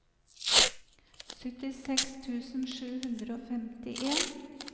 syttiseks tusen sju hundre og femtien